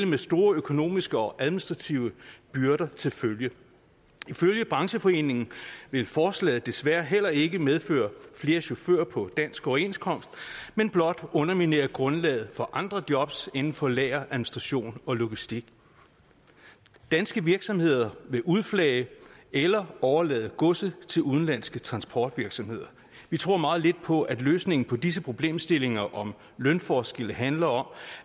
med store økonomiske og administrative byrder til følge ifølge brancheforeningen vil forslaget desværre heller ikke medføre flere chauffører på dansk overenskomst men blot underminere grundlaget for andre jobs inden for lager administration og logistik danske virksomheder vil udflage eller overlade godset til udenlandske transportvirksomheder vi tror meget lidt på at løsningen på disse problemstillinger om lønforskel handler om